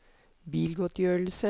bilgodtgjørelse